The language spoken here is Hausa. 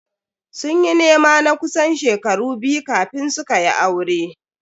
Sun yi nema na kusan shekaru biyu kafin su kayi aure.